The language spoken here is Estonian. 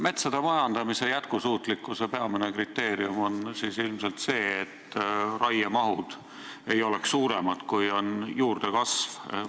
Metsade majandamise jätkusuutlikkuse peamine kriteerium on ilmselt see, et raiemahud ei oleks suuremad, kui on juurdekasv.